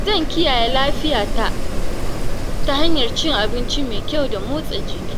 Zan kiyaye lafiyata ta hanyar cin abinci mai kyau da motsa jiki.